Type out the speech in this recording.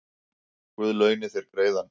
Guð launi þér greiðann